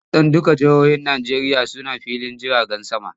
Kusan dukkan jihohin Najeriya suna filin jirgin sama.